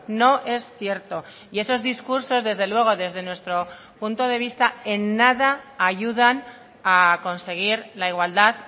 no es cierto y esos discursos desde luego desde nuestro punto de vista en nada ayudan a conseguir la igualdad